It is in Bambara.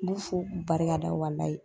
N b'u fo k'u barika da walayi.